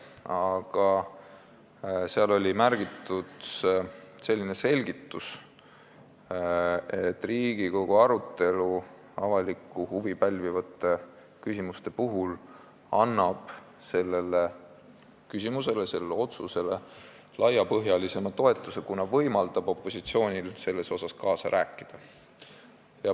Aga seal oli märgitud selline selgitus, et Riigikogu arutelu avalikku huvi pälvivate küsimuste puhul annab otsusele laiapõhjalisema toetuse, kuna võimaldab opositsioonil kaasa rääkida.